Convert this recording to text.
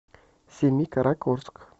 семикаракорск